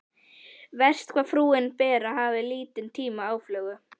Verst hvað frúin Bera hafði lítinn tíma aflögu.